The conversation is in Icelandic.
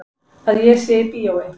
Að ég sé í bíói.